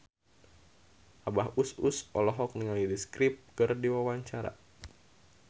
Abah Us Us olohok ningali The Script keur diwawancara